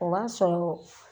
O b'a sɔrɔ